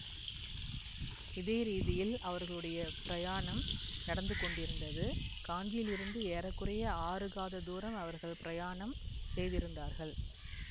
இதே ரீதியில் அவர்களுடைய பிரயாணம் நடந்து கொண்டிருந்தது காஞ்சியிலிருந்து ஏற குறைய ஆறு காத தூரம் அவர்கள் பிரயாணம் செய்திருந்தார்கள்